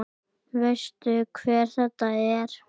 Veistu hver þetta er?